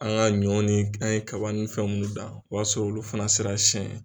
An ka ɲɔ ni an ye kaba in fɛn minnu dan o y'a sɔrɔ olu fana sera siyɛn ye.